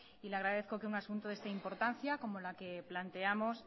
y le agradezco que un asunto de esta importancia como la que planteamos